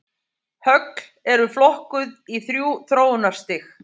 Högl eru flokkuð í þrjú þróunarstig.